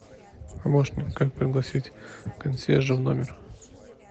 помощник как пригласить консьержа в номер